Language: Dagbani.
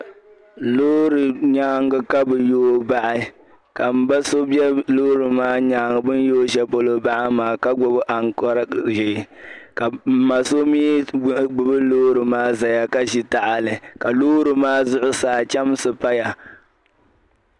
Loori nyaaŋga ka bɛ yooi bahi ka m ba so be loori maa nyaaŋga bɛ ni yooi shɛli polo bahi maa ka gbibi aŋkɔra ʒee ka m ma so mi gbibi loori maa zaya ka ʒi tahali ka loori maa zuɣusaa chɛmsi paya.